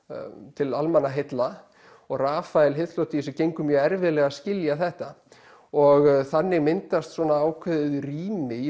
til almannaheilla og Rafael gengur mjög erfiðlega að skilja þetta og þannig myndast svona ákveðið rými í